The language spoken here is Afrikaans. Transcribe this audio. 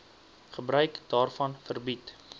gebruik daarvan verbied